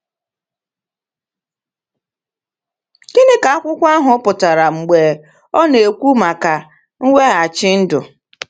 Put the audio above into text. Gịnị ka akwụkwọ ahụ pụtara mgbe ọ na-ekwu maka mweghachi ndụ?